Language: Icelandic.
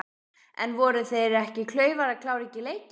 En voru þeir ekki klaufar að klára ekki leikinn?